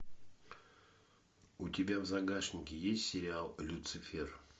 у тебя в загашнике есть сериал люцифер